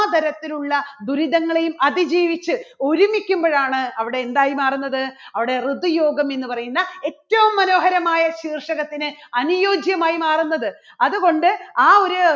തരത്തിലുള്ള ദുരിതങ്ങളെയും അതിജീവിച്ച് ഒരുമിക്കുമ്പോഴാണ് അവിടെ എന്തായി മാറുന്നത്? അവിടെ ഋതു യോഗം എന്ന് പറയുന്ന ഏറ്റവും മനോഹരമായ ശീർഷകത്തിന് അനുയോജ്യമായി മാറുന്നത്. അതുകൊണ്ട് ആ ഒരു